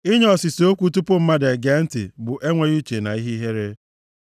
Inye ọsịsa okwu tupu mmadụ ege ntị bụ enweghị uche na ihe ihere.